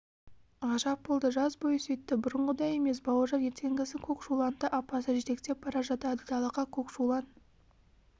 ғажап болды жаз бойы сөйтті бұрынғыдай емес бауыржан ертеңгісін көкшуланды апасы жетектеп бара жатады далаға көкшулан